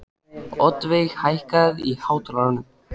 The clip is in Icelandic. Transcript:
Oddveig, hækkaðu í hátalaranum.